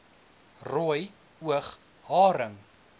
rooi oog haring